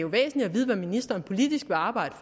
væsentligt at vide hvad ministeren politisk vil arbejde